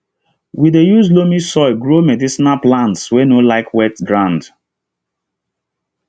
we dey use loamy soil grow medicinal plants wey no like wet ground